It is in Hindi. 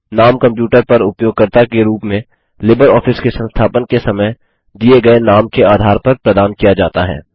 नाम कंप्यूटर पर उपयोगकर्ता के रूप में लिबरऑफिस के संस्थापन के समय दिए गए नाम के आधार पर प्रदान किया जाता है